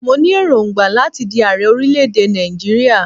Mo ní èròngbà láti di ààrẹ orílẹ̀-èdè Nàìjíríà.